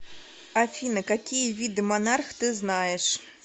афина какие виды монарх ты знаешь